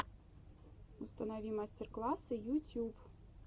установи мастер классы ютюб